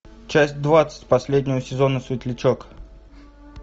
часть двадцать последнего сезона светлячок